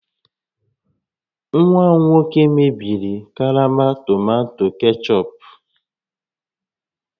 Nwa m nwoke mebiri karama tomato kechọp